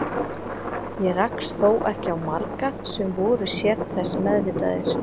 Ég rakst þó ekki á marga sem voru sér þess meðvitaðir.